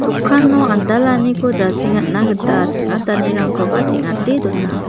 andalaniko jasengatna gita ching·atanirangko teng·ate dona.